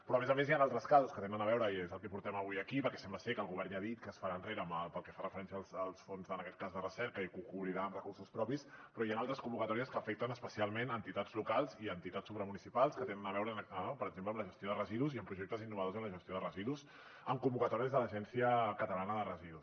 però a més a més hi han altres casos que tenen a veure i és el que portem avui aquí perquè sembla ser que el govern ja ha dit que es farà enrere pel que fa referència als fons en aquest cas de recerca i que ho cobrirà amb recursos propis però hi han altres convocatòries que afecten especialment entitats locals i entitats supramunicipals que tenen a veure per exemple amb la gestió de residus i amb projectes innovadors en la gestió de residus amb convocatòries de l’agència catalana de residus